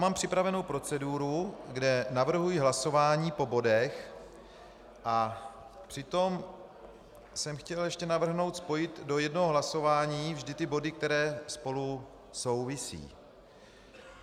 Mám připravenu proceduru, kde navrhuji hlasování po bodech, a přitom jsem chtěl ještě navrhnout spojit do jednoho hlasování vždy ty body, které spolu souvisí.